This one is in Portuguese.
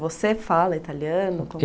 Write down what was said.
Você fala italiano?